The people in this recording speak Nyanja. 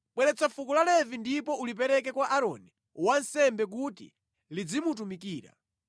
“Bweretsa fuko la Levi ndipo ulipereke kwa Aaroni wansembe kuti lizimutumikira.